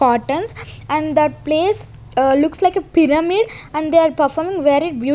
cottons and that place looks like a pyramid and they are performing very --